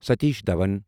Satish Dhawan